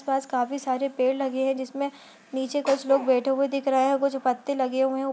आस-पास काफी सारे पेड़ लगे हैं जिसमे नीचे कुछ लोग बैठे हुए दिख रहे हैं कुछ पत्ते लगे हुए हैं --